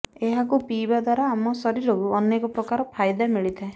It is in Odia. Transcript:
ଏହାକୁ ପିଇବା ଦ୍ୱାରା ଆମ ଶରୀରକୁ ଅନେକ ପ୍ରକାର ଫାଇଦା ମିଳିଥାଏ